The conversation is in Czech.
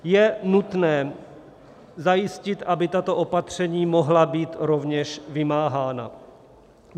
Je nutné zajistit, aby tato opatření mohla být rovněž vymáhána.